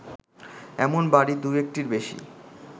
এমন বাড়ি দু-একটির বেশি